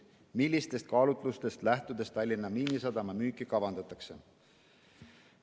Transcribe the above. Millistest kaalutlustest lähtudes Tallinna Miinisadama müüki kavandatakse?